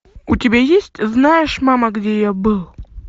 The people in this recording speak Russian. у тебя есть знаешь мама где я был